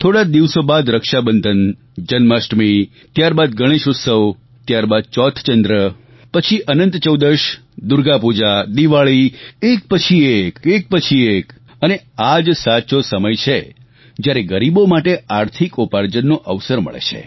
થોડા જ દિવસો બાદ રક્ષાબંધન જન્માષ્ટમી ત્યારબાદ ગણેશ ઉત્સવ ત્યારબાદ ચોથ ચંદ્ર પછી અનંત ચૌદશ દુર્ગા પૂજા દિવાળી એક પછી એક એક પછી એક અને આ જ સાચો સમય છે જ્યારે ગરીબો માટે આર્થિક ઉપાર્જનનો અવસર મળે છે